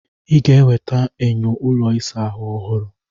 Ị ga-eweta enyo ụlọ ịsa ahụ ọhụrụ.